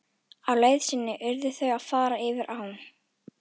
Á leið sinni urðu þau að fara yfir á.